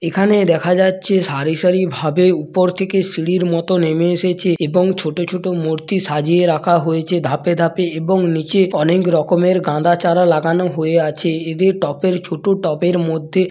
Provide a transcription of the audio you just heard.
এখানে দেখা যাচ্ছে সারি সারি উপর থেকে সিড়ি মতো নেমে এসেছে এবং ছোট ছোট মূর্তি সদাজিয়ে রাখা হয়েছে ধাপে ধাপে এবং নিচে অনেক রকমের গাঁদা চারা লাগানো হয়ে আছ্ এদের টপের ছোট টপের মধ্যে।